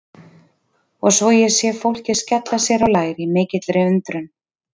Og svo sé ég fólkið skella sér á lær í mikilli undrun.